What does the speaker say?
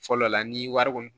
Fɔlɔ la ni wari kɔni